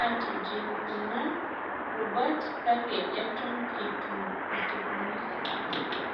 atijinh' kuna rubat kake eton etu esipuni.